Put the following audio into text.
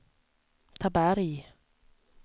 Taberg